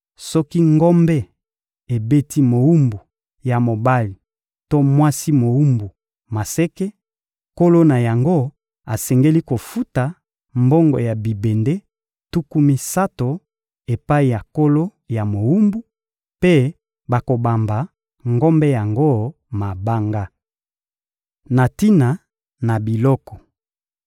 Soki ngombe ebeti mowumbu ya mobali to mwasi mowumbu maseke, nkolo na yango asengeli kofuta mbongo ya bibende, tuku misato, epai ya nkolo ya mowumbu, mpe bakobamba ngombe yango mabanga. Na tina na biloko